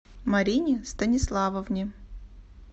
марине станиславовне